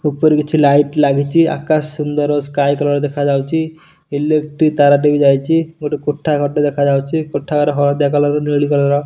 ଉପରେ କିଛି ଲାଇଟ୍ ଲାଗିଚି ଆକାଶ ସୁନ୍ଦର ସ୍କାଏ କଲର୍ ଦେଖାଯାଉଚି ଇଲେକ୍ଟ୍ରିକ ତାରଟେ ବି ଯାଇଚି ଗୋଟେ କୋଠଘର ଟେ ଦେଖାଯାଉଚି କୋଠଘର ହଳଦିଆ କଲର୍ ନେଳି କଲର୍ --